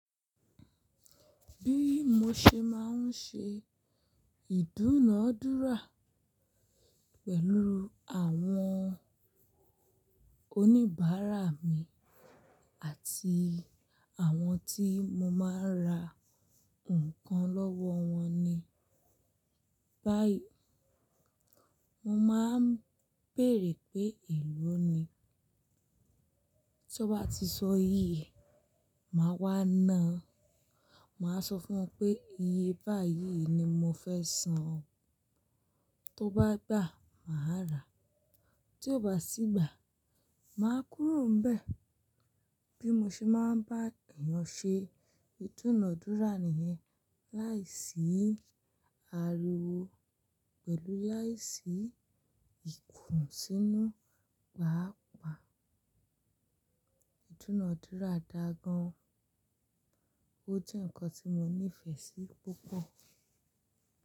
Bí mo ṣe máa ń ṣe ìdúnadúrà pẹ̀lú àwọn oníbàárà mi àti àwọn tí mo máa ń ra nǹkan lọ́wọ́ wọn ni. Báyìí mo máa ń bèèrè pé èló ni, tí wọ́n bá ti sọ iye e, màá wá ná. Màá sọ fún wọn pé iye báyìí ni mo fẹ́ san, tó bá gbà, màá rà, tí ó bá sí gbà, màá kúrò n bẹ̀. Bí mo ṣe máa ń bá èèyàn ṣe ìdúnadúrà nìyẹn. Láìsí ariwo pẹ̀lú láìsí ìkùnsínú, pàápàá ìdúnadúrà dáa gan. Ó jẹ́ ǹkan tí mo nífẹ̀ẹ́ sí púpọ̀